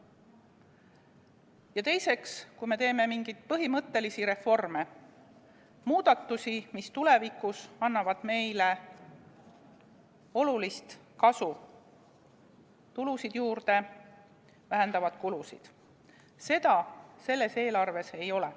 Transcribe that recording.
Ja teiseks, kui me teeme mingeid põhimõttelisi reforme, muudatusi, mis tulevikus annavad meile olulist kasu, tulusid juurde, vähendavad kulusid, seda selles eelarves ei ole.